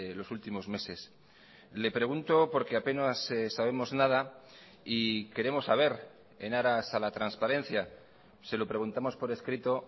los últimos meses le pregunto porque apenas sabemos nada y queremos saber en aras a la transparencia se lo preguntamos por escrito